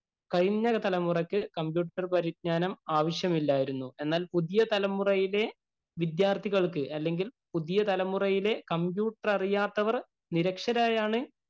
കഴിഞ്ഞ തലമുറക്ക് കമ്പ്യൂട്ടര്‍ പരിജ്ഞാനം ആവശ്യമില്ലാരുന്നു. എന്നാല്‍ പുതിയ തലമുറയിലെ വിദ്യാര്‍ത്ഥികള്‍ക്ക് അല്ലെങ്കില്‍ പുതിയ തലമുറയിലെ കമ്പ്യൂട്ടര്‍ അറിയാത്തവര്‍ നിരക്ഷരരായാണ്